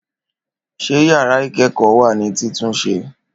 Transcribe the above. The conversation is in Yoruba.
Ṣé yàrá ikẹ́kọ́ wá ni títúnse?